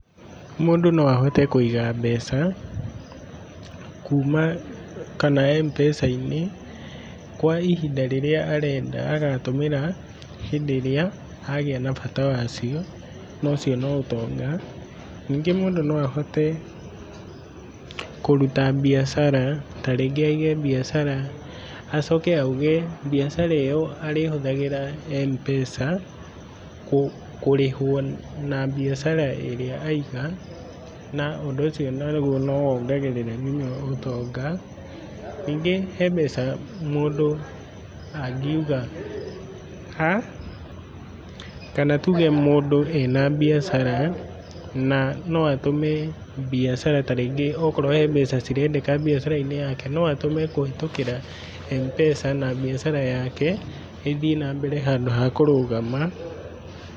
Mũndũ no ahote kũiga mbeca kuma, kana Mpesa-inĩ kwa ihinda rĩrĩa arenda agatũmĩra hĩndĩ ĩrĩa agĩa na bata wacio na ũcio no ũtonga. Ningĩ mũndũ no ahote kũruta mbiacara, ta rĩngi aige mbiacara, acoke auge mbiacara ĩyo arĩhũthagĩra Mpesa kũrĩhwo na mbiacara ĩrĩa aiga, na ũndũ ũcio naguo no wongagĩrĩra nginya ũtonga. Ningĩ he mbeca mũndũ angiuga, kana tũge mũndũ ena mbiacara na no atũme mbiacara ta rĩngĩ okorwo he mbeca cirendeka mbiacara-inĩ yake, no atũme kũhĩtũkĩra Mpesa na mbiacara yake ĩthiĩ na mbere handũ ha kũrũgama.